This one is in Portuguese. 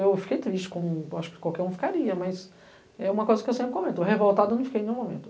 Eu fiquei triste, como acho que qualquer um ficaria, mas é uma coisa que eu sempre comento, revoltado eu não fiquei em nenhum momento.